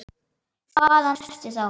Hvaðan ertu þá?